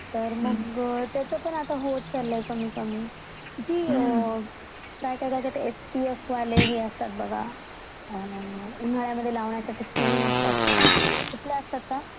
तर मग त्याचा पण आता होत चालला आहे कमी कमी, ती काय त्याला म्हणतात ते एस पी एफ वाले असतात हे बघा उन्हळ्या मध्ये लावणाऱ्या क्रीम असतात त्या, कुठल्या असतात त्या ?